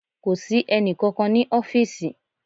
Kò sí ẹnì kankan ní ọfísì